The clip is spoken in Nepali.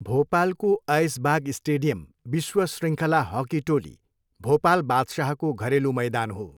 भोपालको ऐसबाग स्टेडियम विश्व शृङ्खला हक्की टोली, भोपाल बादशाहको घरेलु मैदान हो।